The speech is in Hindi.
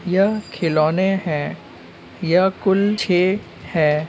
यह खिलोने हैं यह कुल छह हैं।